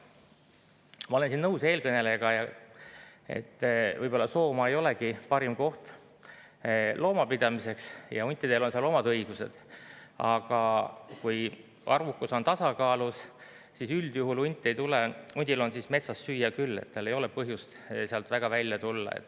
Ma olen nõus eelkõnelejaga, et võib-olla Soomaa ei olegi parim koht loomapidamiseks ja huntidel on seal omad õigused, aga kui arvukus on tasakaalus, siis üldjuhul hunt ei tule, hundil on siis metsas süüa küll ja tal ei ole põhjust sealt välja tulla.